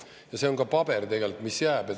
Ja see on ka paber, mis jääb.